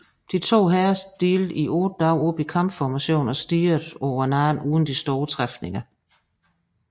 De to hære stillede i otte dage op i kampformation og stirrede på hinanden uden store træfninger